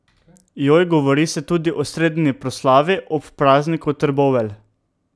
Joj, govori se tudi o sredini proslavi ob prazniku Trbovelj.